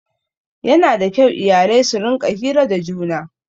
Yana da kyau iyalai su rinƙa hira da juna